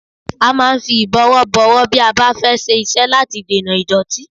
A máa ń fi ìbọ̀wọ́ bọ ọwọ́ bí a bá fẹ́ ṣiṣẹ́ láti dènà ìdọ́tí